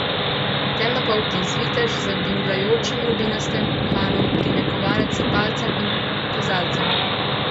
Temnopolti zvitež z bingljajočim rubinastim uhanom prime kovanec s palcem in kazalcem.